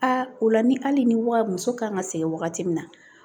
Aa o la ni hali ni wa muso kan ka segin wagati min na